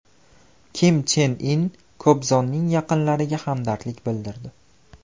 Kim Chen In Kobzonning yaqinlariga hamdardlik bildirdi.